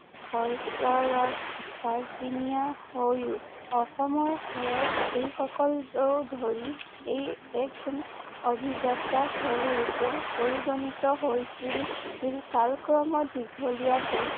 হৈ অসমৰ হৰত এইসকলো ধৰি এই এক অভিযাত্ৰা খেল ৰূপে পৰিগণিত হৈছিল কালক্ৰমত দীঘলীয়া